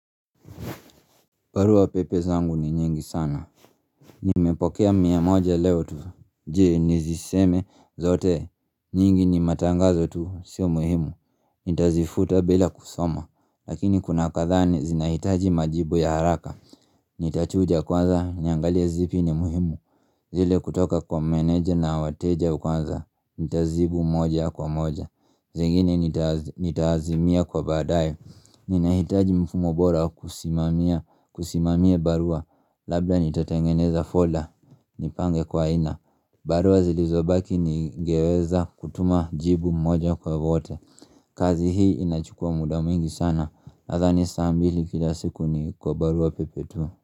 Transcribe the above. Barua pepe zangu ni nyingi sana. Nimepokea mia moja leo tu. Je, niziseme zote? Nyingi ni matangazo tu, sio muhimu. Nitazifuta bila kusoma. Lakini kuna kadhaa na zinahitaji majibu ya haraka. Nitachuja kwanza niangalie zipi ni muhimu. Zile kutoka kwa meneja na wateja kwanza. Nitajibu moja kwa moja. Zingine nitazimia kwa baadaye. Ninahitaji mfumo bora wa kusimamia barua. Labda nitatengeneza folda. Nipange kwa aina. Barua zilizobaki ningeweza kutuma jibu mmoja kwa wote. Kazi hii inachukua muda mwingi sana. Nadhani saa mbili kila siku ni kwa barua pepe tu.